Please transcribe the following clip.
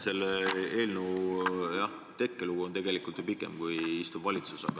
Selle eelnõu tekkelugu on tegelikult pikem kui praeguse valitsuse ametiaeg.